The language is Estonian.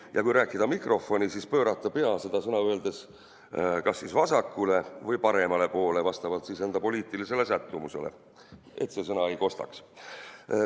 Ja kui rääkida mikrofoni, siis pöörata pea seda sõna öeldes kas vasakule või paremale poole vastavalt enda poliitilisele sättumusele, et seda sõna ei kostaks.